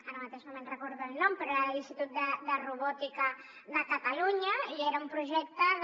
ara mateix no me’n recordo del nom però era de l’institut de robòtica de catalunya i era un projecte de